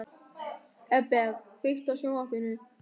Eberg, kveiktu á sjónvarpinu.